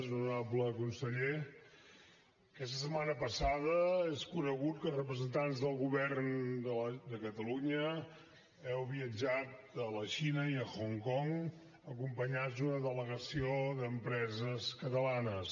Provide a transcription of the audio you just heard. honorable conseller aquesta setmana passada és conegut que representants del govern de catalunya heu viatjat a la xina i a hong kong acompanyats d’una delegació d’empreses catalanes